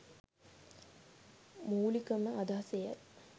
මුලිකම අදහස එයයි.